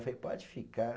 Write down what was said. falei, pode ficar.